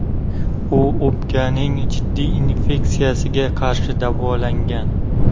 U o‘pkaning jiddiy infeksiyasiga qarshi davolangan.